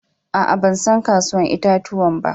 Aa, ban san kasuwan yayan itatuwan ba.